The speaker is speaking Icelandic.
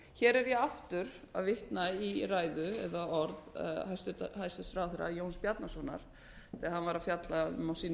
hér er ég aftur að vitna í ræðu eða orð hæstvirts ráðherra jóns bjarnasonar þegar hann var að fjalla um á sínum